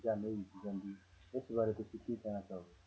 ਜਾਂ ਨਹੀਂ ਬੀਜੀ ਜਾਂਦੀ ਇਸ ਬਾਰੇ ਤੁਸੀਂ ਕੀ ਕਹਿਣਾ ਚਾਹੋਗੇ।